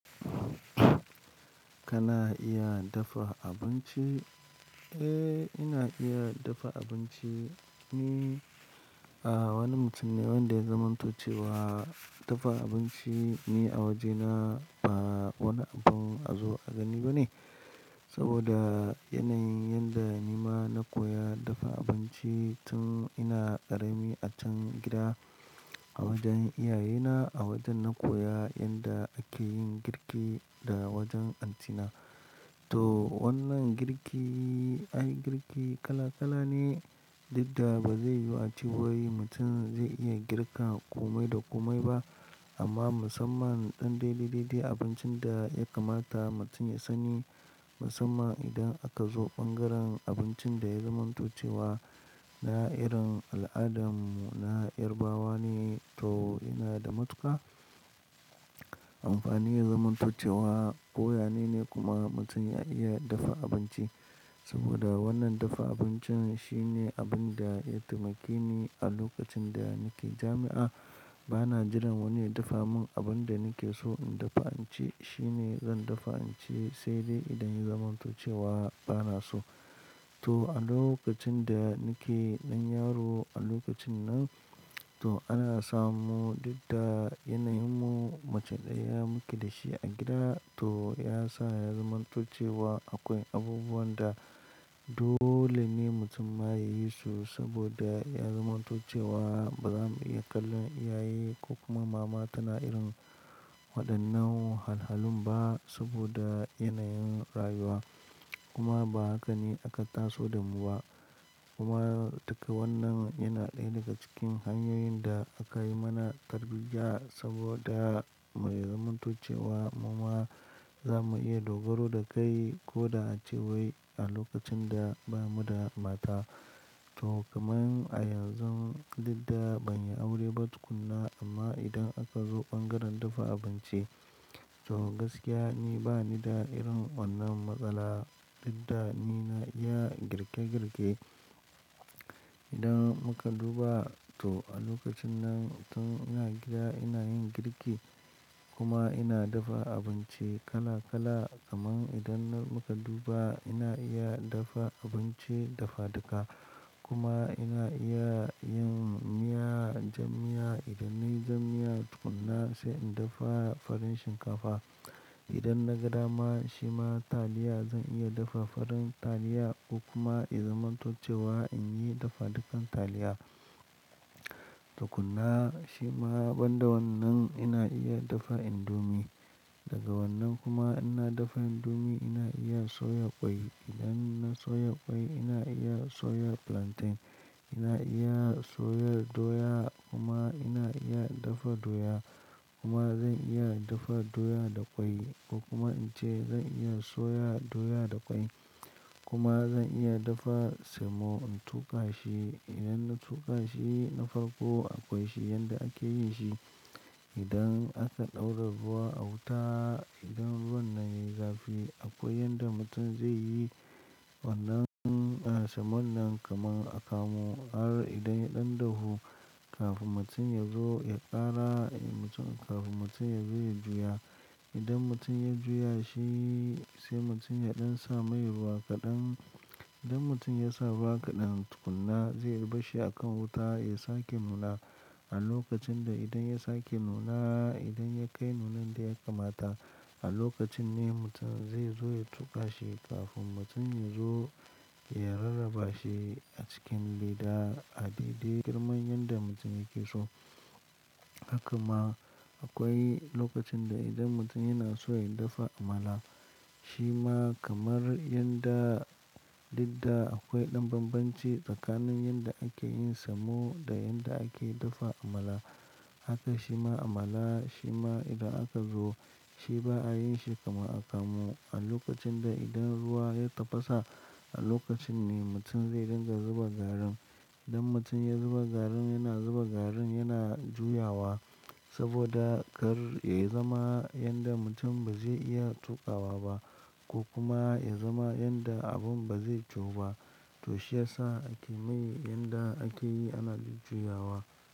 Kana iya dafa abinci? Eh, ina iya dafa abinci. Ni wani mutum ne wanda ya zamanto cewa dafa abinci. Ni a wajena ba wani abin a zo a gani ba ne. Saboda yanayin yanda ni ma na koya dafa abinci tun ina ƙarami a can gida a wajen iyayena. A wajen na koya yanda ake yin girki da wajen anti na. To wannan girki, ai girki kala kala ne. Dukda ba zai yu a ce wai mutum zai iya girka ƙomai da ƙomai ba. Amma musamman ɗan daidai daidai abincin da ya kamata mutum ya sani. Musamman idan aka zo ɓangaren abincin da ya zamanto cewa na irin al'adarmu na yarabawa ne. To yana da matuƙa amfani zamanto cewa koyane ne kuma mutum ya iya dafa abinci. Saboda wannan dafa abincin shi ne abin da ya taimake ni a lokacin da nake jami'a. Ba na jiran wani ya dafa mun abun da nake so in dafa in ci, shi ne zan dafa in ci sai dai idan ya zamanto cewa ba na so. To a lokacin da nake ɗan yaro a lokacin nan, to ana samu duk da yanayin mu mace ɗaya muke da shi a gida. To ya sa ya zamanto cewa akwai abubuwan da dole ne mutum ma ya yi su saboda ya zamanto cewa bazamu iya kallon iyaye ko kuma mama tana irin waɗannan wahalhalun ba saboda yanayin rayuwa. Kuma ba haka ne aka taso da mu ba. Kuma duka wannan yana ɗaya daga cikin hanyoyin da aka yi mana tarbiyya saboda mu zamanto cewa muma zamu iya dogaro da kai ko da a ce wai a lokacin da bamu da mata. To kamar a yanzu dukda ban yi aure ba tukuna amma idan aka zo ɓangaren dafa abinci to gaskiya ni bani da irin wannan matsala. Dadda ni na iya girke girke. Idan muka duba to a lokacin nan tun ina gida ina yin girki kuma ina dafa abinci kala kala. Kaman idan na muka duba ina iya dafa abinci dafaduka kuma ina iya yin miya, jan miya. Idan nayi jan miya tukuna sai in dafa farin shinkafa. Idan na ga dama shi ma taliya zan iya dafa farin taliya ko kuma ya zamanto cewa in yi dafadukan taliya. Tukunna. Shi ma banda wannan ina iya dafa indomie. Daga wannan kuma ina dafa indomi ina iya soya ƙwai. Idan na soya ƙwai ina iya soya plantain, ina iya soya doya kuma ina iya dafa doya kuma zan iya dafa doya da ƙwai ko kuma in ce zan iya soya doya da ƙwai kuma zan iya dafa semo in tuƙa shi. Idan na tuƙa shi na farko akwai shi yanda ake yin shi. Idan aka ɗaura ruwa a wuta, idan ruwan nan yai zafi akwai yanda mutum zai yi wannan semon nan kamar akamu. Har idan ya ɗan dahu kafin mutum ya zo ya ƙara mutum, kafin mutum ya zo ya juya. Idan mutum ya juya shi sai mutum ya ɗan sa mai ruwa kaɗan. Idan mutum ya sa ruwa kaɗan tukunna zai barshi a kan wuta ya sake nuna a lokacin da idan ya sake nuna, idan ya kai nunan da ya kamata a lokacin ne mutum zai zo ya tuƙa shi kafin mutum ya zo ya rarraba shi a cikin leda a daidai girman yanda mutum yake so. Haka ma akwai lokacin da idan mutum yana so ya dafa amala, shi ma kamar yanda duk da akwai ɗan bambanci tsakanin yanda ake yin semo da yanda ake dafa amala. Haka shi ma amala shi ma idan aka zo shi ba a yin shi kamar akamu. A lokacin da idan ruwa ya tafasa a lokacin ne mutum zai dinga zuba garin. Idan mutum ya zuba garin yana zuba garin yana juyawa saboda kar ya zama yanda mutum ba zai iya tuƙawa ba ko kuma ya zama yanda abun ba zai juyu ba. To shi ya sa ake mai yanda ake yi ana jujjuyawa.